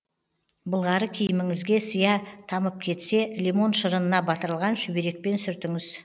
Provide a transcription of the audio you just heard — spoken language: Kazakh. былғары киіміңізге сия тамып кетсе лимон шырынына батырылған шүберекпен сүртіңіз